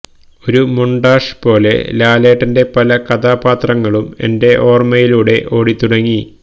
ഒരു മൊണ്ടാഷ് പോലെ ലാലേട്ടൻ്റെ പല കഥാപാത്രങ്ങളും എൻ്റെ ഓർമ്മയിലൂടെ ഓടിത്തുടങ്ങി